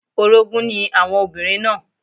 Orogún ni àwọn obìnrin náà